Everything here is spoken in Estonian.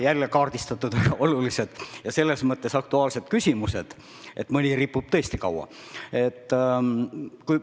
Jälle on kaardistatud selles mõttes aktuaalsed küsimused, et mõni ripub tõesti kaua üleval.